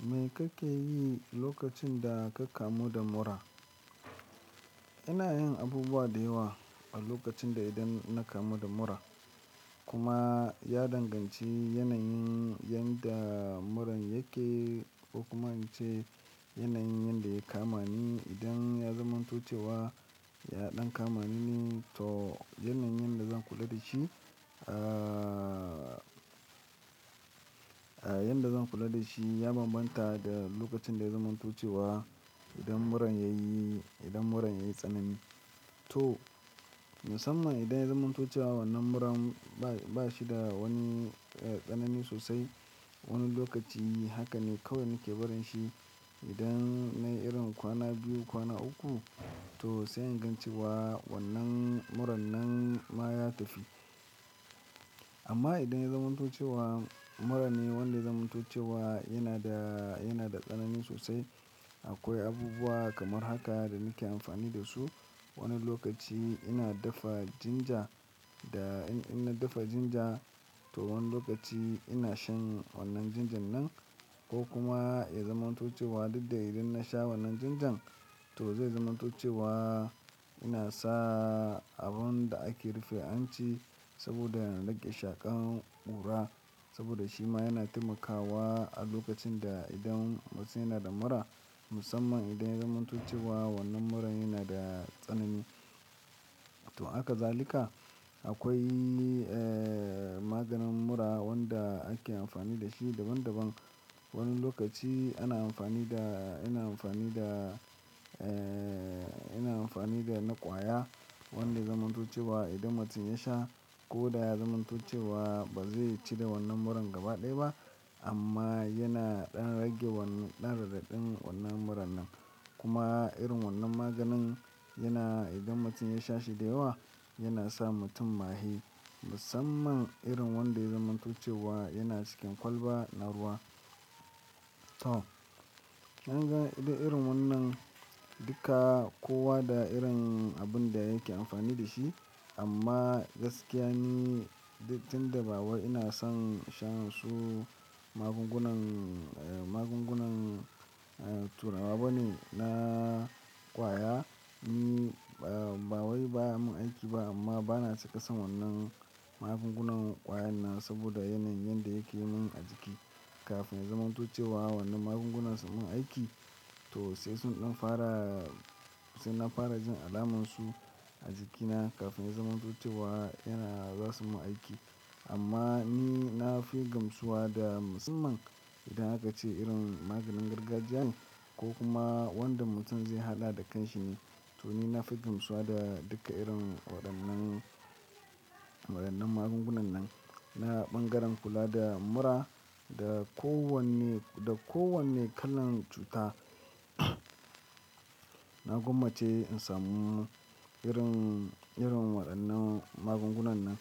Me kake yi lokacin da ka kamu da mura? Ina yin abubuwa da yawa a lokacin da idan na kamu da mura. Kuma ya danganci yanayin yanda muran yake ko kuma ince yanayin yanda ya kama ni. Idan ya zamantuce wa ya ɗan kama ni, to yanayin yanda zan kula da shi, aa yadda zan kula da shi ya bambanta da lokacin da ya zamantoce wa idan muran yayi, idan muran yayi tsanani. To musamman idan ya zamantuce wa wannan muran ba shi da wani tsanani sosai. Wani lokaci haka ne kawai nake barin shi. Idan na irin kwana biyu, kwana uku to sai ingancewa wannan muran nan ma ya tafi. Amma idan ya zamantuce wa mura ne wanda ya zamantuce wa yana da, yana da tsanani sosai. Akwai abubuwa kamar haka da nake amfani da su. Wani lokaci ina dafa ginger da in, idan na dafa ginger to wani lokaci ina shan wannan ginger nan. Ko kuma ya zamantuce wa duk da idan na sha wannan ginger to zai zamantuce wa ina sa abun da ake rufe anci saboda in rage shaƙan ƙura. Saboda shi ma yana taimakawa a lokacin da idan mutum yana da mura. Musamman idan ya zamantoce wa wannan muran yana da tsanani. To haka zalika akwai aa maganin mura wanda ake amfani da shi daban daban. Wani lokaci ana amfani da, ina amfani da aa ina amfani da na ƙwaya wanda zamantoce wa idan mutum ya sha ko da ya zamantoce wa ba zai cire wannan muran gaba ɗaya ba amma yana ɗan rage wannan, ɗan rage ɗan zazzaɓin wannan muran nan. Kuma irin wannan maganin yana idan mutum ya sha shi da yawa yana sa mutum maye. Musamman irin wanda ya zamantoce wa yana cikin kwalba naruwa. To, kinga irin wannan duka kowa da irin abun da yake amfani da shi. Amma gaskiya ni tin da ba wa ina son shan su magungunan, magungunan turawa bane na ƙwaya. Ni ba wai baya mun aiki ba amma bana cika son wannan magungunan ƙwayan nan saboda yanayin yanda yake yi mun a jiki. Kafin ya zamantoce wa wannan magungunan sun mun aiki to sai sun ɗan fara, sai na fara jin alamun su a jikina kafin ya zamantoce wa yana za su mun aiki. Amma ni na fi gamsuwa da musamman idan aka ce irin maganin gargajiya ne ko kuma wanda mutum zai haɗa da kan shi ne. To ni na fi gamsuwa da duka irin waɗannan, waɗannan magungunan nan. Na ɓangaren kula da mura da kowane, da kowane kalan cuta na gwammace in samu irin, irin waɗannan magungunan nan.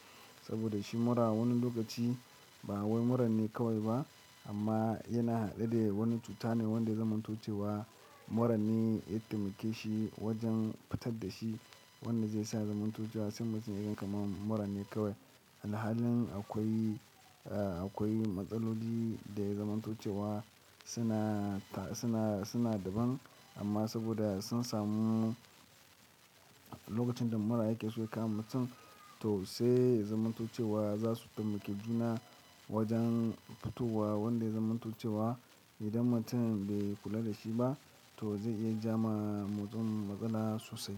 Saboda shi mura wani lokaci ba wai mura ne kawai ba amma yana haɗe da wani cuta ne wanda zamantoce wa mura ne ya taimake shi wajen fitar da shi. Wanda zai sa zamantoce wa sai mutum irin kamar mura ne kawai. Alhalin akwai, akwai matsaloli da ya zamantoce wa suna ta, suna, suna daban amma saboda sun samu lokacin da mura yake so ya kama mutum to sai zamantoce wa za su taimake juna wajen fitowa wanda zamantoce wa idan mutum bai kula da shi ba to zai iya ja ma mutum matsala sosai.